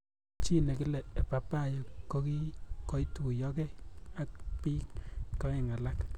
Chi nekile Ebabayo koituyokei ak ak bik aeng alak.